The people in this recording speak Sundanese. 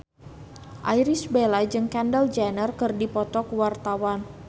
Irish Bella jeung Kendall Jenner keur dipoto ku wartawan